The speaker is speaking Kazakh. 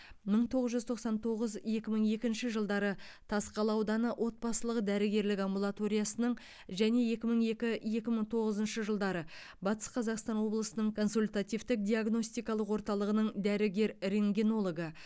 мың тоғыз жүз тоқсан тоғыз екі мың екінші жылдары тасқала ауданы отбасылық дәрігерлік амбулаториясының және екі мың екі екі мың тоғызыншы жылдары батыс қазақстан облысының консультативтік диагностикалық орталығының дәрігер рентгенологы